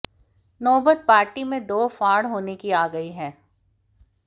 नौबत पार्टी में दो फाड़ होने की आ गई है